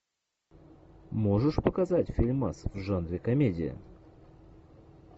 можешь показать фильмас в жанре комедия